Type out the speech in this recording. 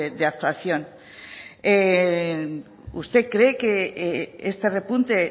de actuación usted cree que este repunte